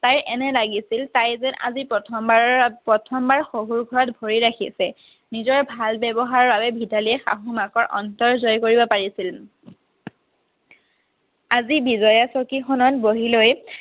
তাইৰ এনে লাগিছিল তাই যেন আজি প্ৰথম বাৰৰ বাবে প্ৰথম বাৰ শহুৰ ঘৰত ভৰি ৰাখিছে। নিজৰ ভাল ব্যৱহাৰৰ বাবে ভিতালীয়ে শাহু মাকৰ অন্তৰ জয় কৰিব পাৰিছিল আজি বিজয়া চকীখনত বহি লৈ